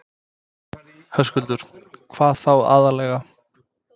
Höskuldur: Hvað þá aðallega?